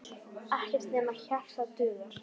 Ekkert nema hjarta dugar.